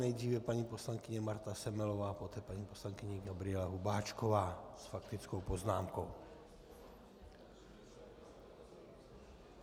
Nejdříve paní poslankyně Marta Semelová, poté paní poslankyně Gabriela Hubáčková s faktickou poznámkou.